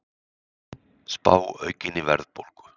Spá aukinni verðbólgu